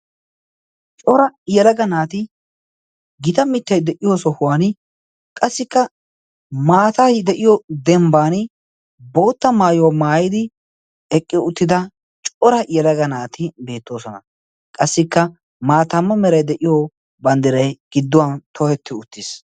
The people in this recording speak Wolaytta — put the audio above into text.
Cora yalaga naati gita mittiyay de'iyo sohuwan qassikka maatay de'iyo dembban bootta maayuwaa maayidi eqqi uttida cora iyalaga naati beettoosona qassikka maataamma merai de'iyo banddiray gidduwan tohetti uttiis.